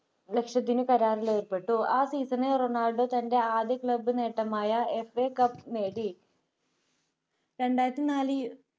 ലക്ഷത്തിനു കരാറിലേർപ്പെട്ടു ആ season ണിൽ തൻ്റെ ആദ്യ club നേട്ടമായ FA cup നേടി രണ്ടായിരത്തിനാലിൽ